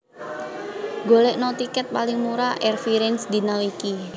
Golekno tiket paling murah Air France dina iki